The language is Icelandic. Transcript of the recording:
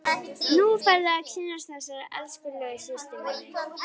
Nú færðu að kynnast þessari elskulegu systur minni!